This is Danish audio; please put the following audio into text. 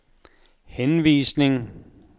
henvisning